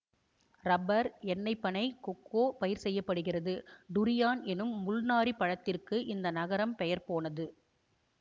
rubber எண்ணெய்ப் பனை cocoa பயிர் செய்ய படுகிறது டுரியான் எனும் முள்நாறிப் பழத்திற்கு இந்த நகரம் பெயர் போனது